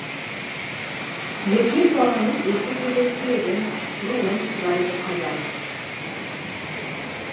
еркек баланың өсе келе тегін руын сұрайды қазақ